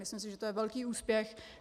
Myslím si, že je to velký úspěch.